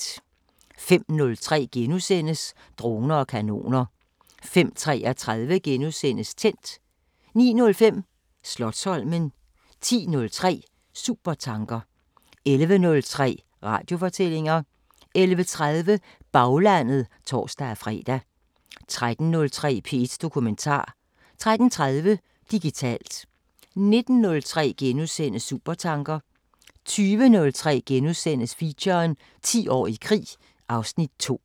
05:03: Droner og kanoner * 05:33: Tændt * 09:05: Slotsholmen 10:03: Supertanker 11:03: Radiofortællinger 11:30: Baglandet (tor-fre) 13:03: P1 Dokumentar 13:30: Digitalt 19:03: Supertanker * 20:03: Feature: 10 år i krig (Afs. 2)*